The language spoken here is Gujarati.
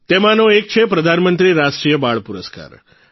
તેમાંનો એક છે પ્રધાનમંત્રી રાષ્ટ્રીય બાળ પુરસ્કાર